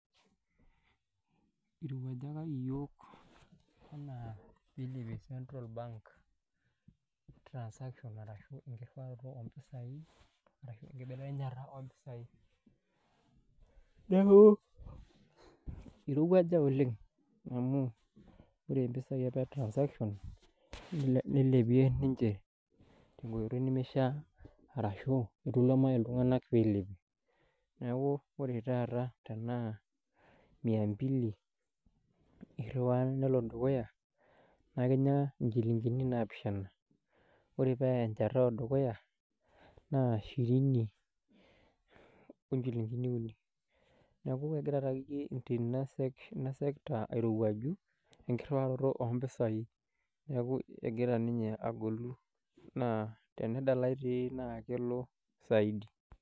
Irowuajaki iyiok enaa pee ilepie central bank transaction arashu enkirruaroto oompisai arashu enkibelekenyata oompisai. Neeku irowuaja oleng' amu, wore impisai apa e transaction, nilepie ninche tenkoitoi nimishaa arashu etaluama iltunganak pee ilepie. Neeku wore taata tenaa mia mbili irriwaa nelo dukuya, naa ekinya inchilingini naapishana, wore paa enchata odukuya, naa shirini onchilingini uni. Neeku ekira taakeyie inasekta airowuaju, enkirruaroto oompisai, neeku ekira ninye agolu. Naa tenedalai dii naa kelo saidi.